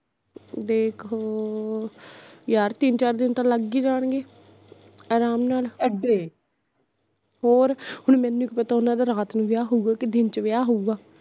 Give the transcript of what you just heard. ਦੇਖ ਯਾਰ ਤਿੰਨ ਚਾਰ ਦਿਨ ਤਾਂ ਲੱਗ ਈ ਜਾਣਗੇ ਅਰਾਮ ਨਾਲ਼ ਹੋਰ, ਹੁਣ ਮੇਨੂ ਕੀ ਪਤਾ ਓਹਨਾ ਦਾ ਰਾਤ ਨੂੰ ਵਿਆਹ ਹੋਊਗਾ ਕਿ ਦਿਨ ਚ ਵਿਆਹ ਹੋਊਗਾ